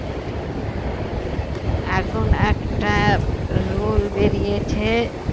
এখন একটা rule বেরিয়েছে